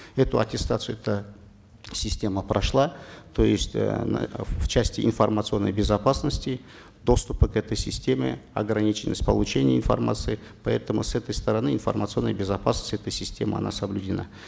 эту аттестацию эта система прошла то есть э в части информационной безопасности доступы к этой системе ограниченность получения информации поэтому с этой стороны информационная безопасность этой системы она соблюдена